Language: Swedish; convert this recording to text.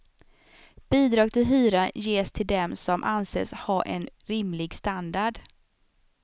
Bidrag till hyran ges till dem som anses ha en rimlig standard.